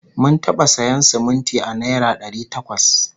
Mun taɓa sayan siminti a naira dari takwas